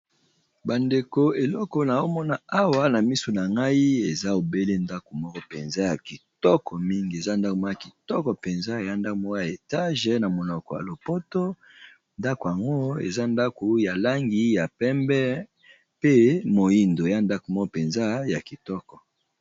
Ba ndeko eloko nazo mona awa na misu na ngai eza obele ndako moko penza ya kitoko mingi, eza ndako moko kitoko penza eza ndako moko ya etage na monoko ya lopoto ndako yango eza ndaku ya langi ya pembe pe moyindo eza ndako moko penza ya kitoko .